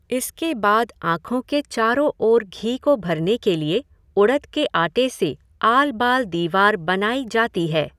इसके बाद आँखों के चारों ओर घी को भरने के लिए उड़द के आटे से आलबाल दीवार बनाई जाती है।